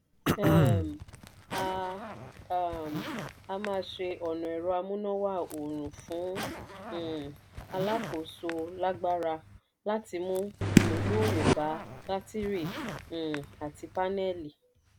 um a um a máa ṣe ọnà ẹ̀rọ amúnáwá oòrùn fún um alákòóso lágbára láti mú ìmúgbòòrò bá bátírì um àti pánẹ́lì